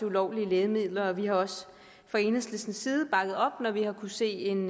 ulovlige lægemidler vi har også fra enhedslistens side bakket op når vi har kunnet se en